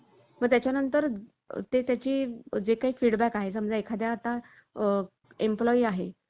मग त्याच्या नंतर ते त्याची जे काही feedback आहे. समजा एखाद्या आता आह employee आहे